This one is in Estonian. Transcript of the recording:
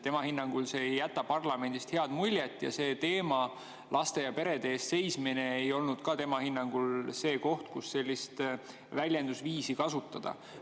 Tema hinnangul ei jäta see parlamendist head muljet ja see teema, laste ja perede eest seismine, ei olnud ka tema hinnangul see koht, kus sellist väljendusviisi kasutada.